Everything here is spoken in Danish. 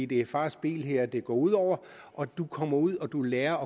det er fars bil her det går ud over du kommer ud og du lærer